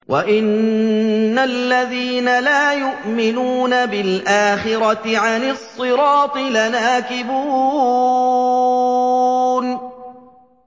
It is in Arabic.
وَإِنَّ الَّذِينَ لَا يُؤْمِنُونَ بِالْآخِرَةِ عَنِ الصِّرَاطِ لَنَاكِبُونَ